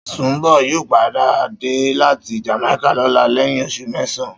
Sùnḿbò̩ yóò padà dé láti Jàmáíkà lóla lé̩yìn os̩ù mé̩sàn-án